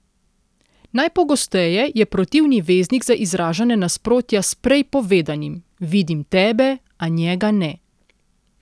Najpogosteje je protivni veznik za izražanje nasprotja s prej povedanim:"Vidim tebe, a njega ne".